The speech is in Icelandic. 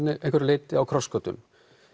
einhverju leyti á krossgötum